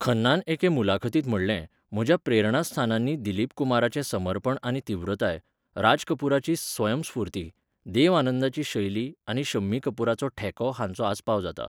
खन्नान एके मुलाखतींत म्हणलें, 'म्हज्या प्रेरणास्थानांनी दिलीप कुमाराचें समर्पण आनी तीव्रताय, राज कपुराची स्वयंस्फूर्ती, देव आनंदाची शैली आनी शम्मी कपुराचो ठेको हांचो आस्पाव जाता.